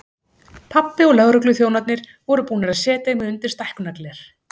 Pabbi og lögregluþjónarnir voru búnir að setja mig undir stækkunargler.